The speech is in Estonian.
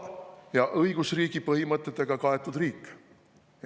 … ja õigusriigi põhimõtetega kaetud riik?